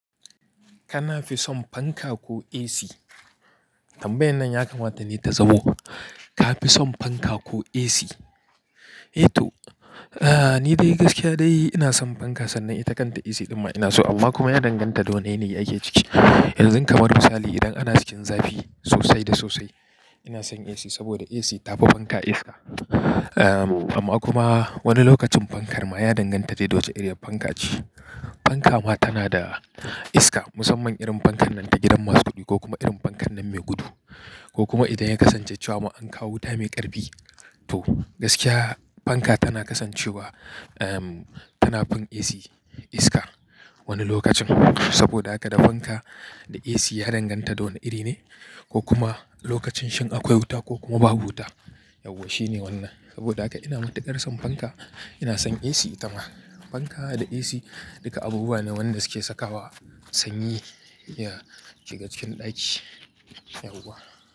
Kana fi son fanka ko AC? Tambayan nan ya kamata ne ta zamo, ka fi son fanka ko AC? Eh to, ah ni dai gaskiya dai ina son fanka sannan ita kanta AC ɗin ma ina so, amma kuma ya danganta da wane yanayi ake ciki. Yanzun kamar misali idan ana cikin zafi sosai da sosai, ina son AC saboda AC tafi fanka iska. Amma kuma wani lokacin fankar ma ya danganta dai da wace iriyar fanka ce. Fanka ma tana da iska, musamman irin fankan nan ta gidan masu kuɗi, ko kuma irin fankan nan mai gudu ko kuma idan ya kasance cewa ma an kawo wuta mai ƙarfi, to gaskiya fanka tana kasancewa, ehm tana fin AC iska wani lokacin, saboda haka da fanka da AC ya danganta da wane iri ne, ko kuma lokacin shin akwai wuta ko kuma babu wuta. Yauwa shine wannan, saboda haka ina matuƙar son fanka, ina son AC ita ma, fanka da AC duka abubuwa ne wanda suke sakawa sanyi ya shiga cikin ɗaki, yauwa.